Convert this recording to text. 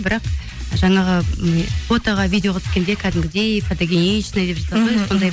бірақ жаңағы м фотоға видеоға түскенде кәдімгідей фотогеничный деп жатады ғой